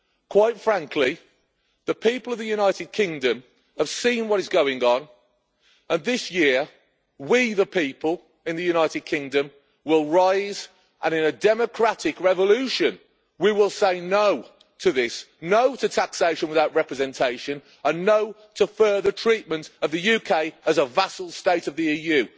Quite frankly, the people of the United Kingdom have seen what is going on and this year we, the people, in the United Kingdom, will rise and in a democratic revolution we will say no to this, no to taxation without representation, and no to further treatment of the UK as a vassal state of the EU.